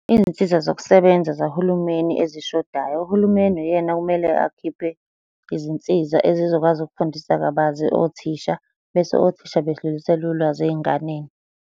Izinsiza zokusebenza zahulumeni ezishodayo. Uhulumeni uyena okumele akhiphe izinsiza ezizokwazi ukufundisa kabanzi othisha bese othisha bedlulisela ulwazi ey'nganeni.